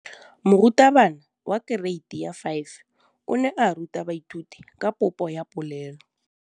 Moratabana wa kereiti ya 5 o ne a ruta baithuti ka popô ya polelô.